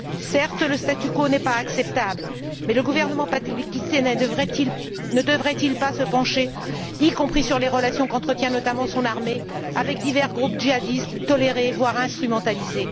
Certes, le statu quo n'est pas acceptable mais le gouvernement pakistanais ne devrait il pas se pencher aussi sur les relations qu'entretient notamment son armée avec divers groupes djihadistes tolérés, voire instrumentalisés?